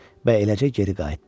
Və eləcə geri qayıtdı.